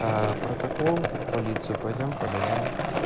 протокол в полицию пойдём подадим